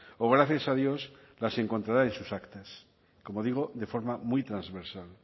o gracias a dios las encontrará en sus actas como digo de forma muy transversal